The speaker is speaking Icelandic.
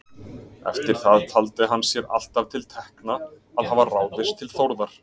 Eftir það taldi hann sér alltaf til tekna að hafa ráðist til Þórðar.